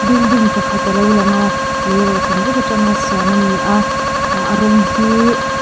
building pakhat alo lang a leirawh chan atang veka siam ani a ah a rawng hi.